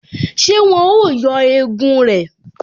Ṣé wọn ó yọ egun rẹ̀?